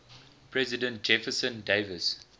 president jefferson davis